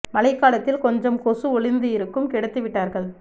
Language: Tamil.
மழை காலத்தில் கொஞ்சம் கொசு ஒழிந்து இருக்கும் கெடுத்து விட்டார்கள்